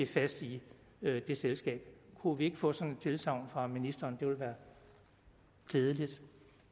fast i det selskab kunne vi ikke få sådan et tilsagn fra ministeren det ville være glædeligt